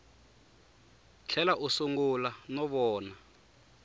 tlhela a sungula no vona